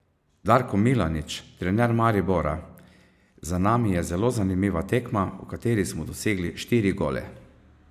Darko Milanič, trener Maribora: "Za nami je zelo zanimiva tekma, v kateri smo dosegli štiri gole.